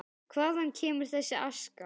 Hvaðan kemur þessi aska?